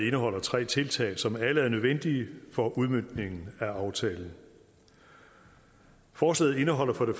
indeholder tre tiltag som alle er nødvendige for udmøntningen af aftalen forslaget indeholder for det